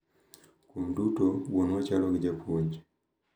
Kuom duto, wuonwa chalo gi japuonj .